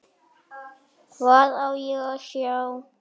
Hvað á ég að sjá?